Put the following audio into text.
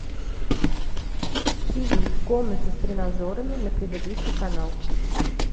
тиви в комнате с тренажерами на предыдущий канал